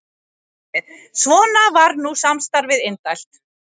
Svona var nú samstarfið indælt.